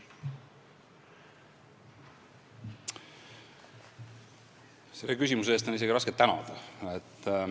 Selle küsimuse eest on raske tänada.